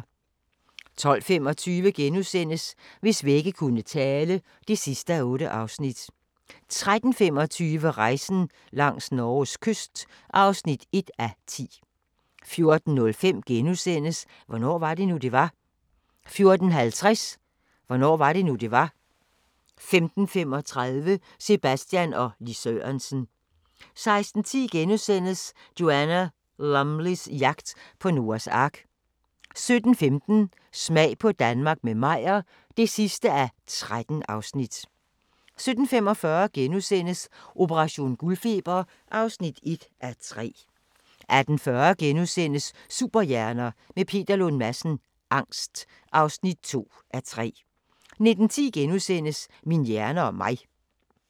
12:25: Hvis vægge kunne tale (8:8)* 13:25: Rejsen langs Norges kyst (1:10) 14:05: Hvornår var det nu, det var? * 14:50: Hvornår var det nu, det var? 15:35: Sebastian og Lis Sørensen 16:10: Joanna Lumleys jagt på Noas ark * 17:15: Smag på Danmark – med Meyer (13:13) 17:45: Operation guldfeber (1:3)* 18:40: Superhjerner – med Peter Lund Madsen: Angst (2:3)* 19:10: Min hjerne og mig *